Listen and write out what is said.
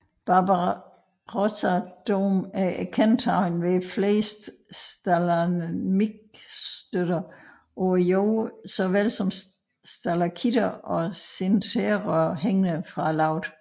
Barbarossadom er kendetegnet af flere stalagmitstøtter på jorden såvel som stalaktitter og sinterrør hængende fra loftet